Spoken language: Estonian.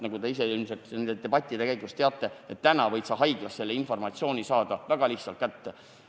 Nagu te ise ilmselt ka nende debattide käigus selgeks olete saanud, praegu võid sa haiglast selle informatsiooni väga lihtsalt kätte saada.